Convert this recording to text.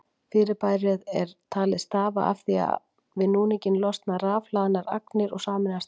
Fyrirbærið er talið stafa af því að við núninginn losna rafhlaðnar agnir og sameinast aftur.